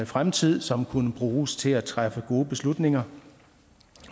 fremtid som kunne bruges til at træffe gode beslutninger